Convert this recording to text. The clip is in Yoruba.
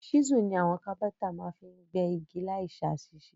Ṣísù ni àwon Kápẹ́ńtà ma fi n gbẹ́ igi láì sàsísé